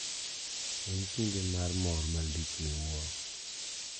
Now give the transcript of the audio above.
En kinde mar mor malich miwuoro.